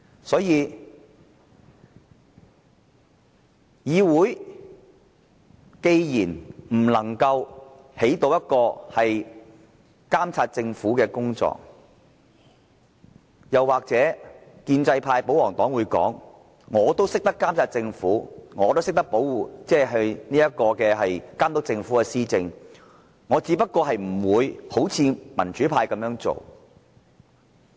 所以，當議會不能夠發揮監察政府的作用，也許建制派、保皇黨會說，他們都懂得監察政府，都懂得監督政府施政，只是不會採取民主派的做法。